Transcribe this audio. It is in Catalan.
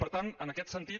per tant en aquest sentit